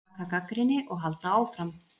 Taka gagnrýni og halda áfram.